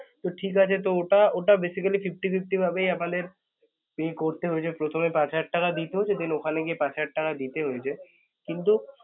তো ঠিকাছে তো ওটা ওটা basically fifty fifty ভাবেই আমাদের pay করতে হয়ছে প্রথমে পাঁচ হাজার টাকা দিতে হত then ওখানে গিয়ে পাঁচ হাজার টাকা দিতে হয়ছে কিন্তু